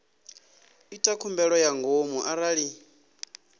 ita khumbelo ya ngomu arali